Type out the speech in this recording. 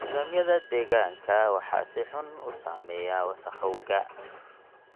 Nidaamyada deegaanka waxaa si xun u saameeya wasakhowga.